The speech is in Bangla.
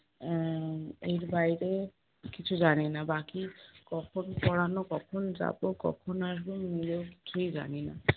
আহ এর বাইরে কিছু জানি না বাকি কখন পড়ানো, কখন যাবো, কখন আসবো আমি নিজেও কিছুই জানি না।